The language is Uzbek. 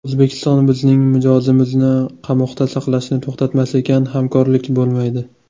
O‘zbekiston bizning mijozimizni qamoqda saqlashni to‘xtatmas ekan, hamkorlik bo‘lmaydi.